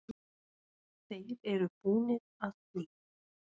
Þeir eru búnir að því.